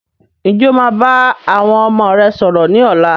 Ǹjẹ́ o máa bá àwọn ọmọ rẹ sọ̀rọ̀ ni ọ̀la?